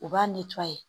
U b'a